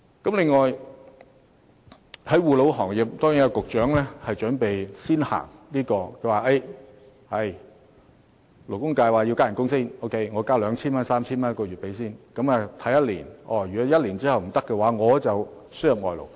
至於護老行業，局長說按勞工界建議，先加薪 2,000 元到 3,000 元一個月，然後觀望1年，如果無法解決問題，就輸入外勞。